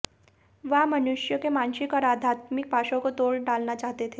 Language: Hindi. वह मनुष्यों के मानसिक और आध्यात्मिक पाशों को तोड़ डालना चाहते थे